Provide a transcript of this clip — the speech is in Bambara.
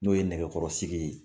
N'o ye nɛgɛkɔrɔsigi ye.